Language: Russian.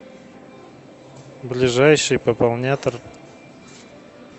ближайший пополнятор